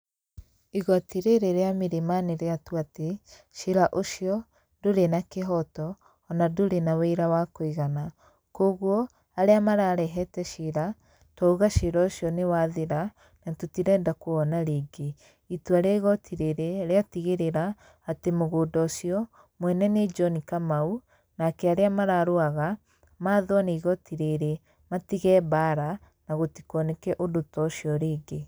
Igoti rĩrĩ rĩa Milimani rĩatua atĩ cira ũcio, ndũrĩ na kĩhoto ona ndũrĩ na wĩira wa kũigana kwoguo, arĩa mararehete ciira twauga cira ũcio nĩ wathira na tũtirenda kũwona rĩngĩ. Itua rĩa igoti rĩrĩ rĩatigĩrĩra atĩ mũgũnda ũcio mwene nĩ John Kamau, nake arĩa mararũaga mathwo nĩ igoti rĩrĩ matige mbaara na gũtikoneke ũndũ to ũcio rĩngĩ.